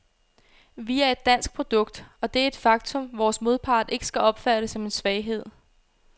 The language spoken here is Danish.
Vi er et dansk produkt, og det er et faktum, vores modpart ikke skal opfatte som en svaghed.